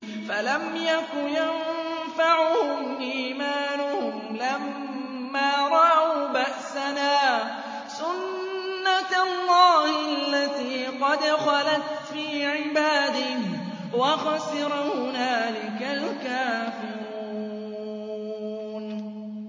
فَلَمْ يَكُ يَنفَعُهُمْ إِيمَانُهُمْ لَمَّا رَأَوْا بَأْسَنَا ۖ سُنَّتَ اللَّهِ الَّتِي قَدْ خَلَتْ فِي عِبَادِهِ ۖ وَخَسِرَ هُنَالِكَ الْكَافِرُونَ